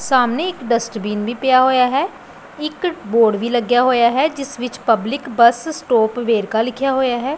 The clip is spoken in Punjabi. ਸਾਹਮਣੇ ਇੱਕ ਡਸਟਬਿਨ ਵੀ ਪਿਆ ਹੋਇਆ ਹੈ ਇੱਕ ਬੋਰਡ ਵੀ ਲੱਗਿਆ ਹੋਇਆ ਹੈ ਜਿਸ ਵਿੱਚ ਪਬਲਿਕ ਬਸ ਸਟੋਪ ਵੇਰਕਾ ਲਿਖਿਆ ਹੋਇਆ ਹੈ।